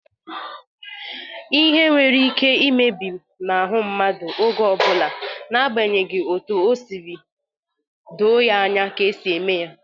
lhe nwere ike imebinahu mmadu oge obula n'agbanyeghi otu o siri doo ya anya ka e si eme ya.